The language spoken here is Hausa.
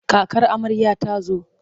Kakar amarya ta zo.